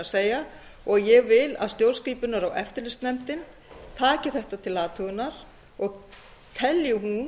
að segja ég vil að stjórnskipunar og eftirlitsnefndin taki þetta til athugunar og telji hún